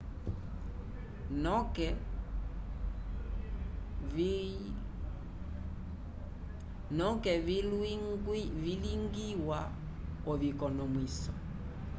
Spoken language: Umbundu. noke vilwigwiwa oviconomwiso